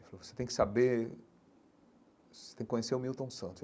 Ele falou você tem que saber você tem que conhecer o Milton Santos.